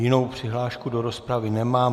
Jinou přihlášku do rozpravy nemám.